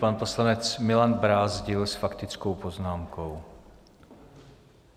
Pan poslanec Milan Brázdil s faktickou poznámkou.